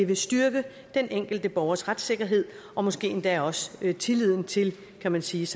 vil styrke den enkelte borgers retssikkerhed og måske endda også tilliden til kan man sige